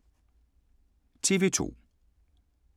TV 2